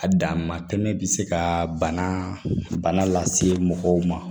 A dan ma tɛmɛ bi se ka bana lase mɔgɔw ma